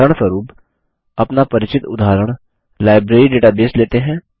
उदाहरणस्वरुप अपना परिचित उदाहरण लाइब्रेरी डेटाबेस लेते हैं